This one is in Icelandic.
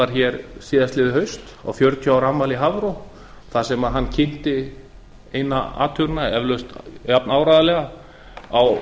var hér síðasta haust á fjörutíu ára afmæli hafró þar sem hann kynnti eina athugunina eflaust jafnáreiðanlega á